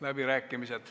Läbirääkimised.